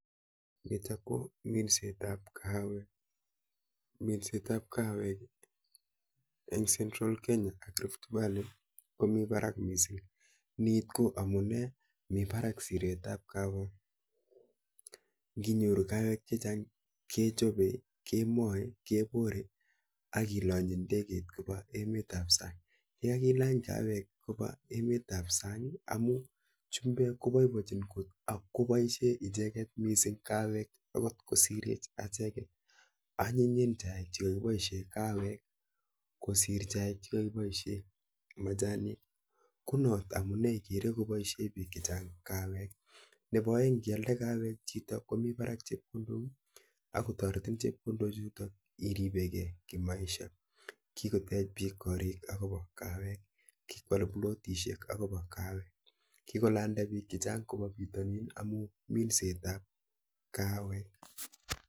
Chuu kominset ap.kahawek. eng (central Kenya )AK (Rift valley) komitei parak missing amun me parak Siret ap.kahawek nginyoruu kahawek chechang kekese AK.kelany ndegeit AK kealda kopa. pitani Nin kochor chepkondok chechang nea akopa ripset ap kahawek